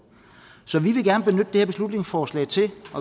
så vi vil gerne benytte her beslutningsforslag til